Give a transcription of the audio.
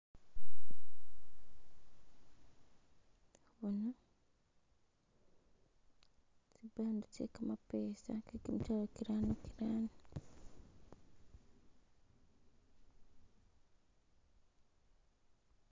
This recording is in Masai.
Boona tsi bundle tse kapesa ke kitwalo kirano kirano.